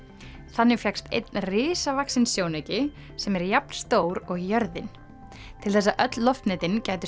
þannig fékkst einn risavaxinn sjónauki sem er jafn stór og jörðin til þess að öll loftnetin gætu